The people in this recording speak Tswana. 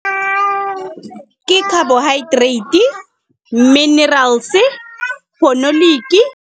Ke carbohydrate, minerals .